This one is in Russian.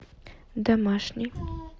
домашний